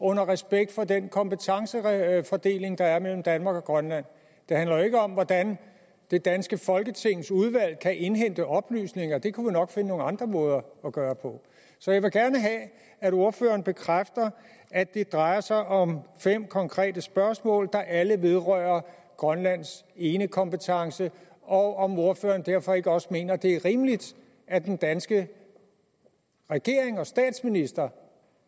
respekt for den kompetencefordeling der er mellem danmark og grønland det handler jo ikke om hvordan det danske folketings udvalg kan indhente oplysninger det kunne vi nok finde nogle andre måder at gøre på så jeg vil gerne have at ordføreren bekræfter at det drejer sig om fem konkrete spørgsmål der alle vedrører grønlands enekompetence og om ordføreren derfor ikke også mener at det er rimeligt at den danske regering og statsminister